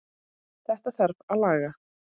Þetta þarf að laga.